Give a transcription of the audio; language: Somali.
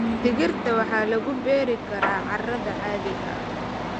Digirta waxaa lagu beeri karaa carrada caadiga ah.